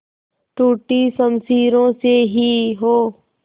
टूटी शमशीरों से ही हो